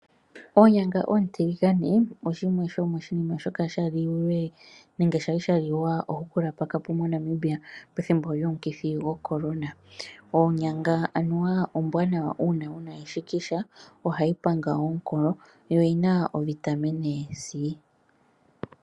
Oonyanga oontiligane odho shimwe shomiinima shoka sha lilwe ohukula pakapo moNamibia pethimbo lyomukithi goCorona. Onyanga aniwa ombwanawa uuna wuna eshikisha. Ohayi panga omukolo yo oyina ovitamine C.